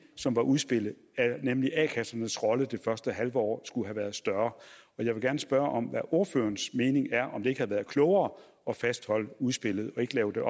som var udspillet nemlig at a kassernes rolle det første halve år skulle have været større men jeg vil gerne spørge om hvad ordførerens mening er det ikke været klogere at fastholde udspillet og ikke lave det